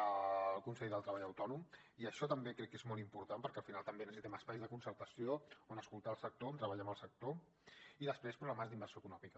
el consell del treball autònom i això també crec que és molt important perquè al final també necessitem espais de concertació on escoltar el sector on treballar amb el sector i després programes d’inversió econòmica